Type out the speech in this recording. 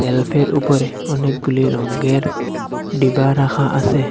সেলফের উপরে অনেকগুলি রঙ্গের ডিবা রাখা আসে ।